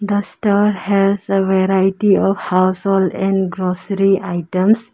the star has a variety of household and grocery items.